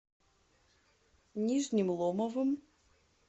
нижним ломовым